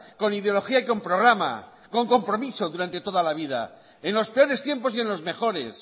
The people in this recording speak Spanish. con ideología y con programa con compromiso durante toda la vida en los peores tiempos y en los mejores